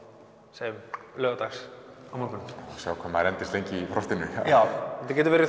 segjum laugardags á morgun sjá hvað maður endist lengi í frostinu já þetta getur verið